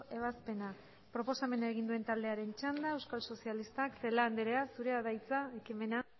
ebazpena proposamena egin duen taldearen txanda euskal sozialistak celaá andrea zurea da hitza ekimena